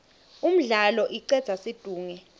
umdlalo icedza situnge